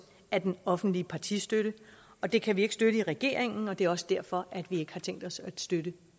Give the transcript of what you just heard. af den offentlige partistøtte og det kan vi ikke støtte i regeringen det er også derfor at vi ikke har tænkt os at støtte